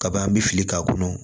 Kaban bɛ fili k'a kɔnɔ